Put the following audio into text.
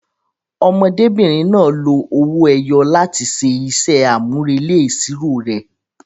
Ọmọdébìnrin náà lo owó ẹyọ láti ṣe iṣẹ́ àmúrelé ìṣirò rẹ̀.